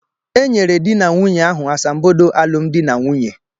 E nyere dị na nwaanyi ahụ asambodo alụmdi na nwunye.